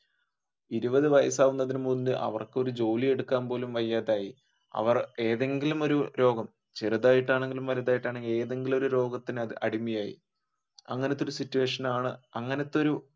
ഇരുപതു വയസ് ആകുന്നതിനു മുൻപ് അവർക്കൊരു ജോലിയെടുക്കാൻ പോലും വയ്യാതെയായി അവർ ഏതെങ്കിലും ഒരു രോഗം ചെറുതായിട്ടാണെങ്കിലും വലുതായിട്ടാണെങ്കിലും ഏതെങ്കിലും ഒരു രോഗത്തിന് അടിമയായി അങ്ങനത്തെ ഒരു situation ആണ് അങ്ങനത്തെ ഒരു